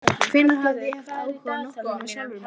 Hvenær hafði ég haft áhuga á nokkrum nema sjálfum mér?